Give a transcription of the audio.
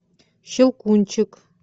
щелкунчик